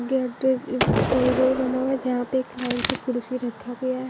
corridor बना हुआ है जहाँ पे एक लाइन से कुर्सी रखा --